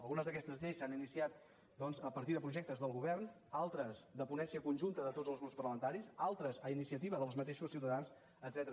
algunes d’aquestes lleis s’han iniciat a partir de projectes del govern altres de po·nència conjunta de tots els grups parlamentaris al·tres a iniciativa dels mateixos ciutadans etcètera